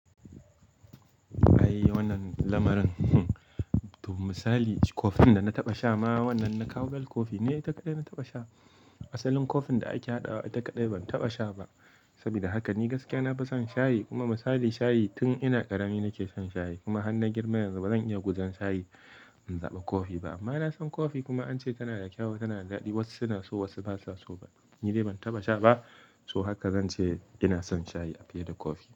Ai wannan lamarin. Hmm. To misali, coffeen da na taɓa sha ma wannan na Cowbell Coffee ne ita kaɗai na taɓa sha. Asalin coffeen da ake haɗawa ita kaɗai ban taɓa sha ba. Saboda haka ni gaskiya na fi son shayi kuma misali shayi tun ina ƙarami nake shan shayi kuma har na girma yanzu bazan iya guzan shayi in zaɓa coffee ba. Amma na san coffee kuma an ce tana da kyau tana da daɗi. Wasu suna so wasu basu'a so ba. Ni dai ban taɓa sha ba. To haka zan ce ina son shayi a fiye da coffee.